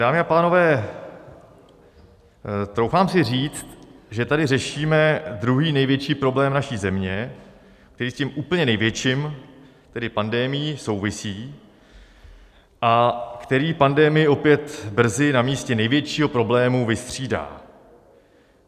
Dámy a pánové, troufám si říct, že tady řešíme druhý největší problém naší země, který s tím úplně největším, tedy pandemií, souvisí a který pandemii opět brzy na místě největšího problému vystřídá.